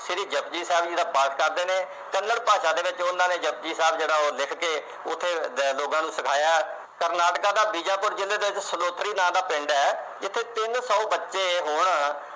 ਸ਼੍ਰੀ ਜਪੁਜੀ ਸਾਹਿਬ ਦਾ ਜਿਹੜਾ ਪਾਠ ਕਰਦੇ ਨੇ ਕੰਨੜ ਭਾਸ਼ਾ ਦੇ ਵਿਚ ਉਨ੍ਹਾਂ ਨੇ ਜਪੁ ਜੀ ਸਾਹਿਬ ਜਿਹੜਾ ਉਹ ਲਿਖ ਕੇ ਉਥੇ ਲੋਕਾਂ ਨੂੰ ਸਿਖਾਇਆ ਕਰਨਾਟਕਾ ਦਾ ਜਿਹਦੇ ਵਿੱਚ ਬੀਜਾਪੁਰ ਜਿਥੇ ਸਲੌਤਰੀ ਵਿਚ ਨਾਂ ਦਾ ਪਿੰਡ ਐ ਇਥੇ ਤਿੰਨ ਸੌ ਬੱਚੇ ਹੁਣ